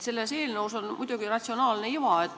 Selles eelnõus on muidugi ratsionaalne iva.